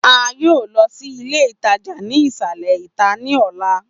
A yoo lọ si ile itaja ni isalẹ ita ni ọla.